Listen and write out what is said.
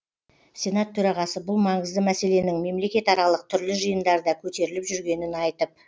сенат төрағасы бұл маңызды мәселенің мемлекетаралық түрлі жиындарда көтеріліп жүргенін айтып